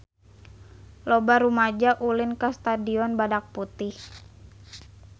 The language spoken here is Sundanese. Loba rumaja ulin ka Stadion Badak Putih